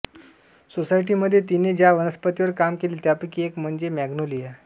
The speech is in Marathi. सोसायटीमध्ये तिने ज्या वनस्पतींवर काम केले त्यापैकी एक म्हणजे मॅग्नोलिया